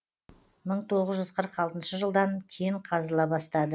мың тоғыз жүз қырық алтыншы жылдан кен қазыла бастады